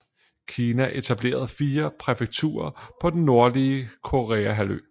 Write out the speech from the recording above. Kina etablerede fire præfekturer på den nordlige Koreahalvø